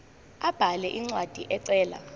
abhale incwadi ecela